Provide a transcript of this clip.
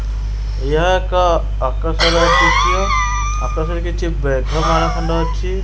ଏହା ଏକ ଅକ୍ରଶ ର ଦୃଶ୍ୟ ଆକାଶରେ କିଛି ମେଘମାଳ ଖଣ୍ଡ ଅଛି।